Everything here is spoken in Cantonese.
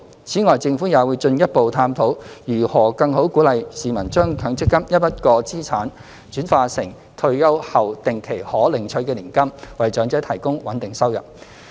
此外，政府也會進一步探討如何更好鼓勵市民將強積金一筆過資產轉化成退休後定期可領取的年金，為長者提供穩定收入。